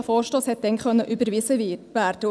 Der Vorstoss konnte damals überwiesen werden.